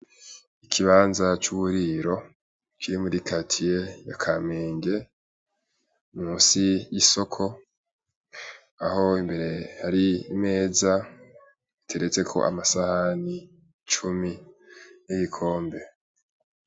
Ikibanza c'uburiro kiri muri karitiye ya Kamenge musi y'isoko aho imbere hari imeza iteretseko amasahani cumi n'ibikombe.